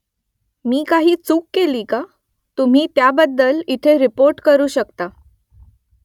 मी काही चूक केली का ? तुम्ही त्याबद्दल इथे रिपोर्ट करू शकता